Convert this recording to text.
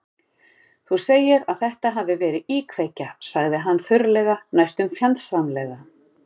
Þú segir að þetta hafi verið íkveikja- sagði hann þurrlega, næstum fjandsamlega.